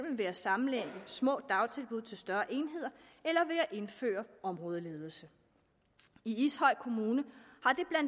ved at sammenlægge små dagtilbud til større enheder eller ved at indføre områdeledelse i ishøj kommune